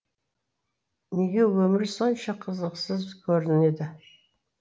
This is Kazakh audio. неге өмір сонша қызықсыз көрінеді